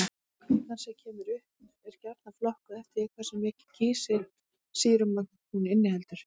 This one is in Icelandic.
Kvikan sem kemur upp er gjarnan flokkuð eftir því hversu mikið kísilsýrumagn hún inniheldur.